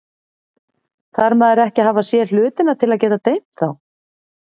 Þarf maður ekki að hafa séð hlutina til að geta dreymt þá?